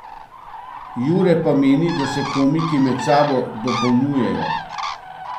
Jure pa meni, da se komiki med sabo dopolnjujejo.